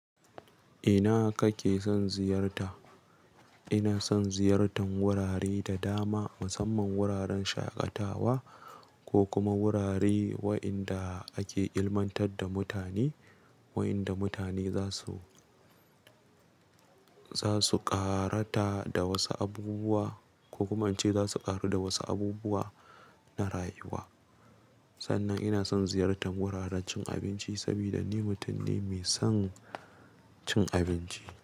Ina kake son ziyarta? Ina son ziyartan wurare da dama, musamman wuraren shaƙatawa ko kuma wurare waenda ake ilmantar da mutane, waenda mutane za su, za su ƙarata da wasu abubuwa ko kuma in ce za su ƙaru da wasu abubuwa na rayuwa. Sannan ina son ziyartan wuraren cin abinci saboda ni mutum ne mai son cin abinci.